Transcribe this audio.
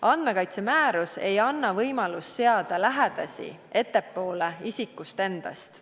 Andmekaitsemäärus ei anna võimalust seada lähedasi ettepoole isikust endast.